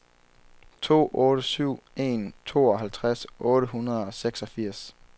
to otte syv en tooghalvtreds otte hundrede og seksogfirs